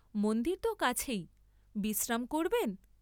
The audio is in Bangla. মন্দির ত কাছেই, বিশ্রাম করবেন?